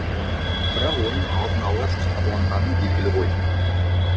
бірақ оның алдын ала жоспарланғаны белгілі ғой